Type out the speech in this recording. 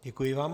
Děkuji vám.